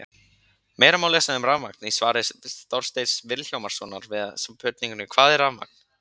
Meira má lesa um rafmagn í svari Þorsteins Vilhjálmssonar við spurningunni Hvað er rafmagn?